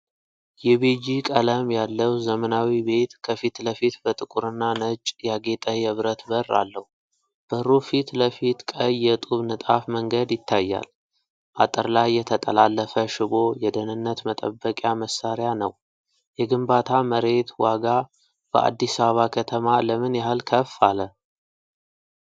የቤጂ ቀለም ያለው ዘመናዊ ቤት ከፊትለፊት በጥቁርና ነጭ ያጌጠ የብረት በር አለው። በሩ ፊት ለፊት ቀይ የጡብ ንጣፍ መንገድ ይታያል። አጥር ላይ የተጠላለፈ ሽቦ የደህንነት መጠበቂያ መሳሪያ ነው። የግንባታ መሬት ዋጋ በአዲስ አበባ ከተማ ለምን ያህል ከፍ አለ?